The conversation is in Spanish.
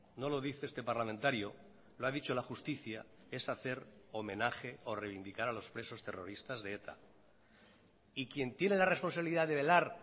no lo dice este parlamentario lo ha dicho la justicia es hacer homenaje o reivindicar a los presos terroristas de eta y quien tiene la responsabilidad de velar